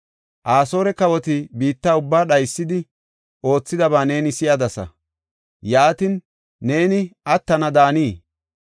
Asoore kawoti biitta ubbaa dhaysidi, oothidaba neeni si7adasa. Yaatin, neeni attana daanii?